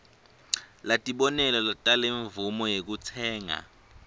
latibonelo talemvumo yekutsenga